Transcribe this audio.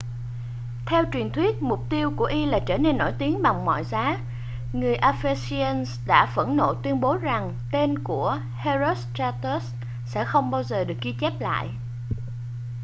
theo truyền thuyết mục tiêu của y là trở nên nổi tiếng bằng mọi giá người ephesians đã phẫn nộ tuyên bố rằng tên của herostratus sẽ không bao giờ được ghi chép lại